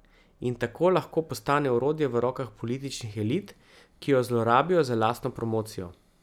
In tako lahko postane orodje v rokah političnih elit, ki jo zlorabijo za lastno promocijo.